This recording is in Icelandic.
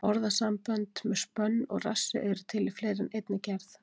Orðasambönd með spönn og rassi eru til í fleiri en einni gerð.